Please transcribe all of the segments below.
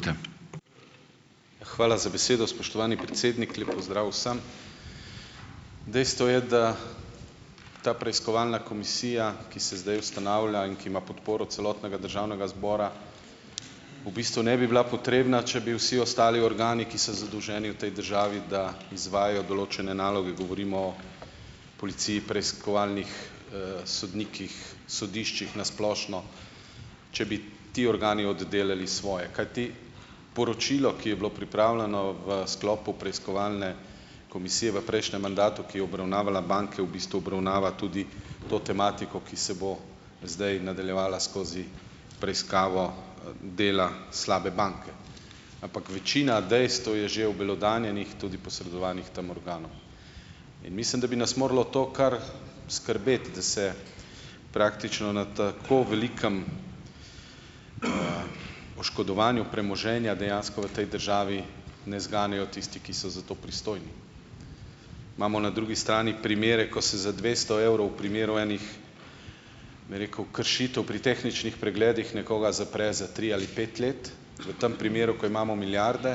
Hvala za besedo, spoštovani predsednik. Lep pozdrav vsem! Dejstvo je, da ta preiskovalna komisija, ki se zdaj ustanavlja, in ki ima podporo celotnega državnega zbora, v bistvu ne bi bila potrebna, če bi vsi ostali organi, ki so zadolženi v tej državi, da izvajajo določene naloge, govorimo o policiji, preiskovalnih, sodnikih, sodiščih na splošno, če bi ti organi oddelali svoje, kajti poročilo, ki je bilo pripravljeno v sklopu preiskovalne komisije v prejšnjem mandatu, ki je obravnavala banke, v bistvu obravnava tudi to tematiko, ki se bo zdaj nadaljevala skozi preiskavo, dela slabe banke. Ampak večina dejstev je že obelodanjenih, tudi posredovanih tem organom. In mislim, da bi nas moralo to kar skrbeti, da se praktično na tako velikem, oškodovanju premoženja dejansko v tej državi ne zganejo tisti, ki so za to pristojni. Imamo na drugi strani primere, ko se za dvesto evrov primerov enih, me rekel, kršitev pri tehničnih pregledih nekoga zapre za tri ali pet let, v tem primeru, ko imamo milijarde,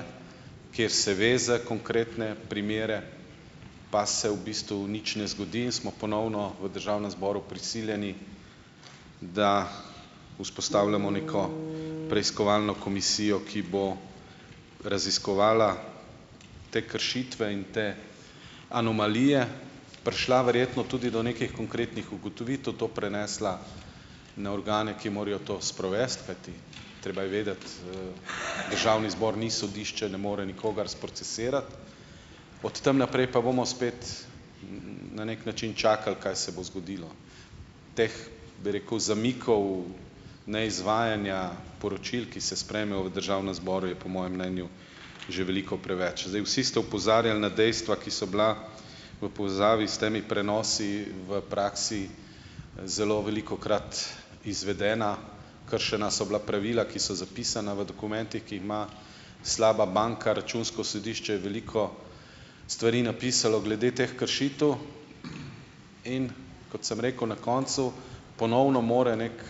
kjer se ve za konkretne primere, pa se v bistvu nič ne zgodi in smo ponovno v državnem zboru prisiljeni, da vzpostavljamo neko preiskovalno komisijo, ki bo raziskovala te kršitve in te anomalije, prišla verjetno tudi do nekih konkretnih ugotovitev, to prenesla na organe, ki morajo to sprovesti, kajti treba je vedeti, državni zbor ni sodišče, ne more nikogar sprocesirati, od tam naprej pa bomo spet na neki način čakali, kaj se bo zgodilo. Teh bi rekel zamikov neizvajanja poročil, ki se sprejme v državnem zboru, je po mojem mnenju že veliko preveč. Zdaj, vsi ste opozarjali na dejstva, ki so bila v povezavi s temi prenosi v praksi zelo velikokrat izvedena, kršena so bila pravila, ki so zapisana v dokumentih, ki jih ima slaba banka, Računsko sodišče, veliko stvari napisalo glede teh kršitev, in kot sem rekel na koncu, ponovno mora neki,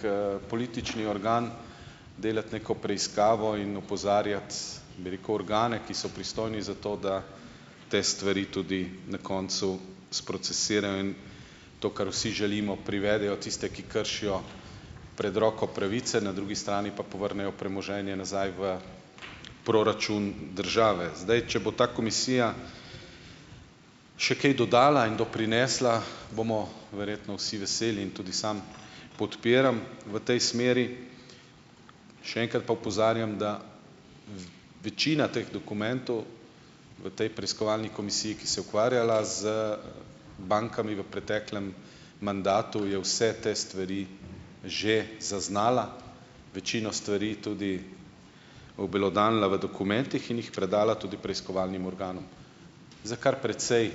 politični organ delati neko preiskavo in opozarjati, bi rekel, organe, ki so pristojni za to, da te stvari tudi na koncu sprocesirajo in to, kar vsi želimo, privedejo tiste, ki kršijo pred roko pravice, na drugi strani pa povrnejo premoženje nazaj v proračun države. Zdaj, če bo ta komisija še kaj dodala in doprinesla, bomo verjetno vsi veseli in tudi sam podpiram v tej smeri. Še enkrat pa opozarjam, da večina teh dokumentov v tej preiskovalni komisiji, ki se je ukvarjala z bankami v preteklem mandatu, je vse te stvari že zaznala, večino stvari tudi obelodanila v dokumentih in jih predala tudi preiskovalnim organom. Za kar precej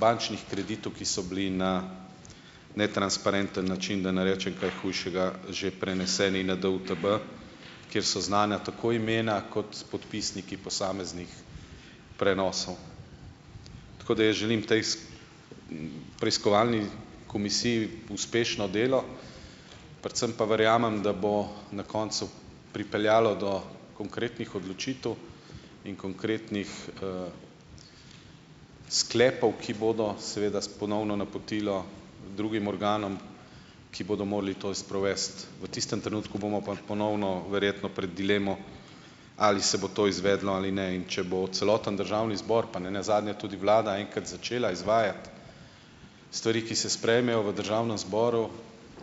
bančnih kreditov, ki so bili na netransparenten način, da ne rečem kaj hujšega, že preneseni na DUTB, kjer so znana tako imena kot podpisniki posameznih prenosov. Tako, da jaz želim tej, preiskovalni komisiji uspešno delo, predvsem pa verjamem, da bo na koncu pripeljalo do konkretnih odločitev in konkretnih, sklepov, ki bodo seveda s ponovno napotilo drugim organom, ki bodo morali to sprovesti, v tistem trenutku bomo pa ponovno verjetno pred dilemo, ali se bo to izvedlo ali ne. In če bo celoten državni zbor pa nenazadnje tudi vlada enkrat začela izvajati stvari, ki se sprejmejo v državnem zboru,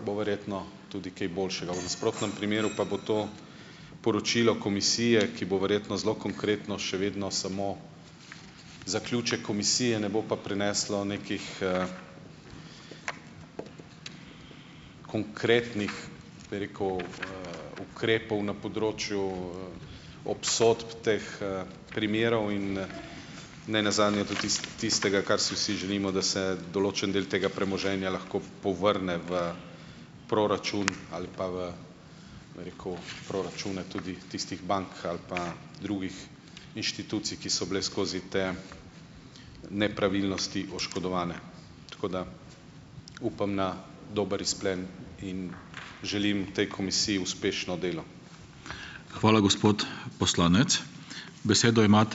bo verjetno tudi kaj boljšega, v nasprotnem primeru pa bo to poročilo komisije, ki bo verjetno zelo konkretno še vedno samo zaključek komisije, ne bo pa prineslo nekih, konkretnih, bi rekel, ukrepov na področju, obsodb teh, primerov in, nenazadnje tudi tistega, kar si vsi želimo, da se določen del tega premoženja lahko povrne v proračun, ali pa v, bom rekel, proračune tudi tistih bank ali pa drugih inštitucij, ki so bile skozi te nepravilnosti oškodovane. Tako da upam na dober izplen in želim tej komisiji uspešno delo.